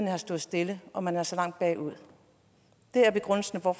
har stået stille og man er så langt bagud det er begrundelsen for